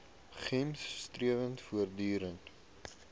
gems strewe voortdurend